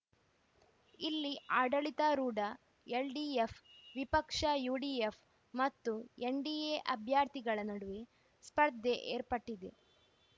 ಇಲ್ಲಿ ಆಡಳಿತಾರೂಢ ಎಲ್‌ಡಿಎಫ್‌ ವಿಪಕ್ಷ ಯುಡಿಎಫ್‌ ಮತ್ತು ಎನ್‌ಡಿಎ ಅಭ್ಯರ್ಥಿಗಳ ನಡುವೆ ಸ್ಪರ್ಧೆ ಏರ್ಪಟ್ಟಿದೆ